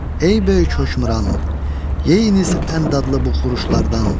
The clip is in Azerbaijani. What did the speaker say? "Ey böyük hökmdaran, yeyiniz ən dadlı bu xuruşlardan.